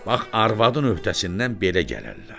Bax arvadın öhdəsindən belə gələrlər.